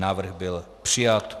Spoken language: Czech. Návrh byl přijat.